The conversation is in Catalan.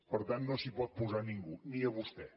per tant no s’hi pot posar a ningú ni a vostè